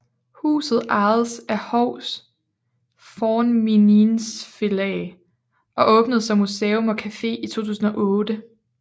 Huset ejes af Hovs Fornminnisfelag og åbnede som museum og café i 2008